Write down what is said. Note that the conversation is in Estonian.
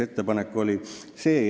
" Jutt on dividendidest.